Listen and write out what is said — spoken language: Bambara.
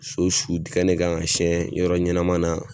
So su dingɛ ne kan ka siyɛn yɔrɔ ɲɛnama na,